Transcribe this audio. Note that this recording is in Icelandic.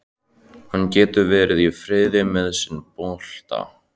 Hann getur verið í friði með sinn bolta.